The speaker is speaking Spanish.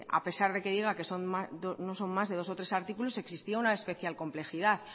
a pesar de que diga que no son más de dos o tres artículos existía una especial complejidad